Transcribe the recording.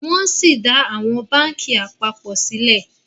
wón sí dá àwọn bánkì apapọ sílè